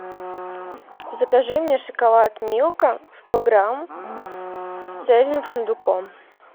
закажи мне шоколад милка сто грамм с цельным фундуком